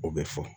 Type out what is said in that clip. O bɛ fɔ